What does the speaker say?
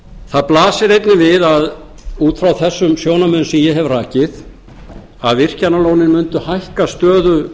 það blasir einnig við út frá þessum sjónarmiðum sem ég hef rakið að virkjanalónin myndu hækka